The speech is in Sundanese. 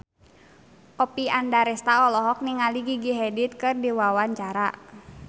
Oppie Andaresta olohok ningali Gigi Hadid keur diwawancara